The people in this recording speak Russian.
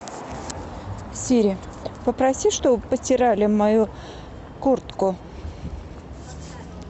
сири попроси чтобы постирали мою куртку